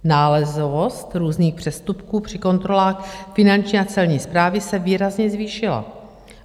Nálezovost různých přestupků při kontrolách finanční a celní správy se výrazně zvýšila.